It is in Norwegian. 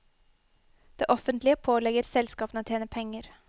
Det offentlige pålegger selskapene å tjene penger.